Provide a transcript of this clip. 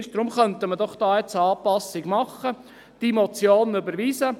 Deshalb könnten wir doch eine Anpassung machen und diese Motion überweisen.